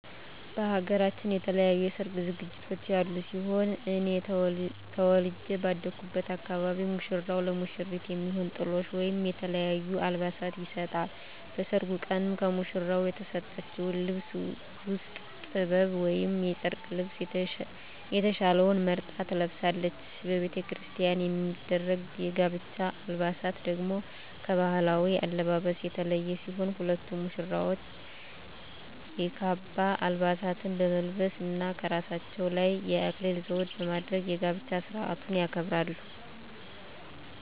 በሃገራችን የተለያዩ የሰርግ ዝግጅቶች ያሉ ሲሆን እኔ ተወልጀ ባደኩበት አካባቢ ሙሽራው ለሙሽሪት የሚሆን ጥሎሽ ወይም የተለያዩ አልባሳትን ይሰጣል። በሰርጉ ቀንም ከሙሽራው የተሰጠችውን ልብስ ውስጥ ጥበብ ወይም የጨርቅ ልብሰ የተሻለውን መርጣ ትለብሳለች። በቤተክርስቲያን የሚደረግ የጋብቻ አለባበስ ደግሞ ከባህላዊው አለባበስ የተለየ ሲሆን ሁለቱም ሙሽራዎች የካባ አልባሳትን በመልበስ እና ከራሳቸው ላይ የአክሊል ዘውድ በማድረግ የጋብቻ ስርአቱን ያከብራሉ።